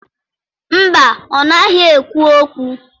Mba, ọ naghị ekwu okwu.